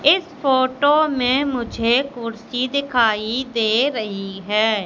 इस फोटो मैं मुझे कुर्सी दिखाई दे रही है।